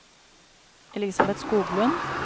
Elisabeth Skoglund